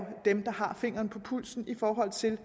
dem der har fingeren på pulsen i forhold til